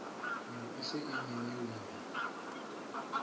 ne e se e nyeunya